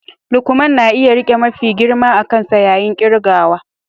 Lukman na iya rike mafi girma a kansa yayin kirgawa